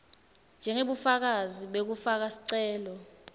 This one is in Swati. njengebufakazi bekufaka sicelo